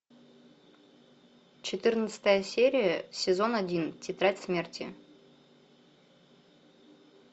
четырнадцатая серия сезон один тетрадь смерти